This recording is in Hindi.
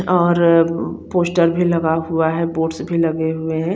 आर पोस्टर भी लगा हुआ है बोर्ड्स भी लगे हुए है।